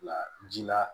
La ji la